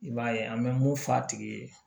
I b'a ye an bɛ mun f'a tigi ye